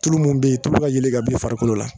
Tulu min bɛ yen tulu ka yeelen ka bɔ i farikolo la